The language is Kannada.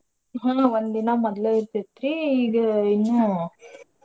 ಹ್ಮ್ ಒಂದಿನಾ ಮೋದ್ಲ ಇರ್ತೇತ್ರೀ ಈಗ ಇನ್ನೂ.